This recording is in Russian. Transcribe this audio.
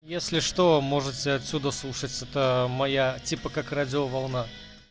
если что можете отсюда слушать это моя типа как радиоволна